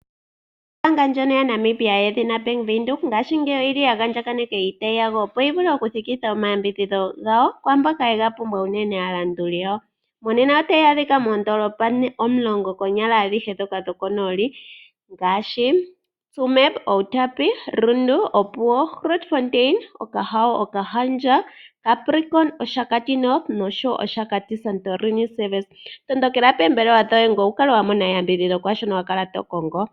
Ombaanga ndjono yaNamibia yedhina Bank Windhoek, ngaashingeyi oya andjaganeka iitayi yawo, opo yi vule okuthikitha omayambidhidho gawo kwaa mboka ye ga pumbwa aalanduli yawo. Monena otayi adhika moondoolopa adhihe ndhoka omulongo dhokonooli ngaashi: Tsumeb, Outapi, Rundu, Opuwo, Grootfontein, Okahao, Okahandja, Capricorn, Oshakati North nOshakati Santorini Service. Tondokela poombelewa dhawo ngoye wu kale wa mona eyambidhidho kwaa shono wa kala to kongo.